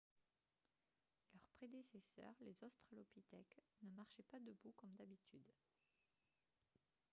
leurs prédécesseurs les australopithèques ne marchaient pas debout comme d'habitude